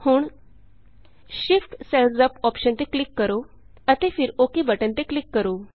ਹੁਣ shift cells up shift cells UP option ਤੇ click ਕਰੋ ਅਤੇ ਫਿਰ ਓੱਕੇ ਬਟਨ ਤੇ ਕਲਿਕ ਕਰੋ